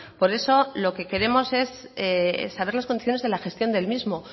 por eso lo que queremos es saber las condiciones de la gestión del mismo